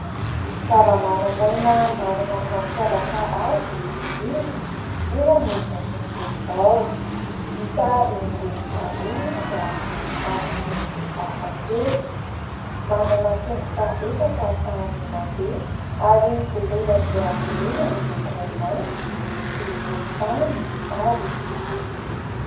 Zava-mananaina manana ny mampiavaka azy ny biby eo amin'izao tontolo izao .Hita eny rehetra eny izy ary amin'ny endriny hafakely .Manana tongotra efatra ahafahany mandeha ary voloina dia voloina miloko mainty sy volontany ary fotsy.